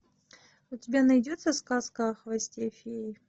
у тебя найдется сказка о хвосте феи